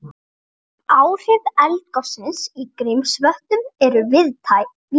Áhrif eldgossins í Grímsvötnum eru víðtæk